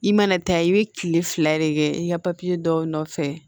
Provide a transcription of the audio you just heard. I mana taa i bɛ kile fila de kɛ i ka dɔw nɔfɛ